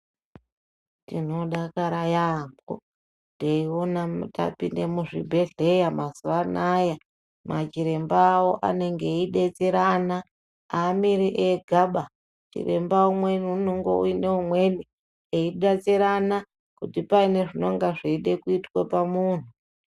Tinodakara yaamho, teiona tapinde muzvibhedhleya mazuwa anaya, machirembawo anenge eidetserana. Aamiri egaba, chiremba umweni unongo uine umweni, eidetserana, kuti paine zvinonga zveide kuitwe pamunhu.